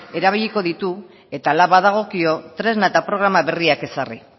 erabiliko ditu eta hala badagokio tresna eta programa berriak ezarri